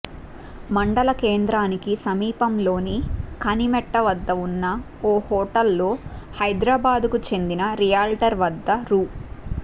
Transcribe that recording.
మండల కేంద్రానికి సమీపంలోని కనిమెట్ట వద్ద ఉన్న ఓ హోటల్లో హైదరాబాద్కు చెందిన రియాల్టర్ వద్ద రూ